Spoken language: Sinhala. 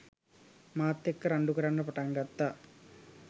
මාත් එක්‌ක රණ්‌ඩුකරන්න පටන් ගත්තා.